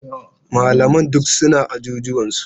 Malaman duk suna ajujuwansu.